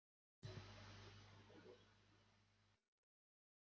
verslunina í sumar, ekki án Bárðar, kemur ekki til mála.